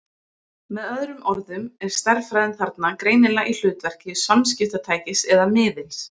Með öðrum orðum er stærðfræðin þarna greinilega í hlutverki samskiptatækis eða-miðils.